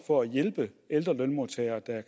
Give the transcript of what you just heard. for at hjælpe ældre lønmodtagere der